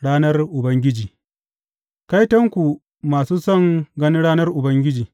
Ranar Ubangiji Kaitonku masu son ganin ranar Ubangiji!